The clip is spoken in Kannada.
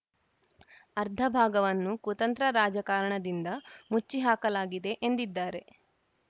ಅರ್ಧ ಭಾಗವನ್ನು ಕುತಂತ್ರ ರಾಜಕಾರಣದಿಂದ ಮುಚ್ಚಿ ಹಾಕಲಾಗಿದೆ ಎಂದಿದ್ದಾರೆ